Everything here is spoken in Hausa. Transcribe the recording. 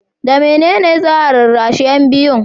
da mene ne za a rarrashi yan biyun?